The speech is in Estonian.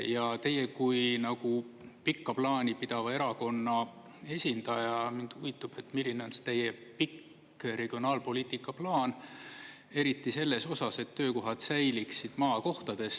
Ja teie kui pikka plaani pidava erakonna esindaja – mind huvitab, milline on see teie pikk regionaalpoliitika plaan, eriti selles osas, et töökohad säiliksid maakohtades.